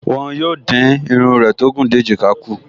Wọ́n yóò dín irun rẹ tó gùn dé èjìká kù